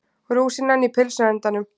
Rúsínan í pylsuendanum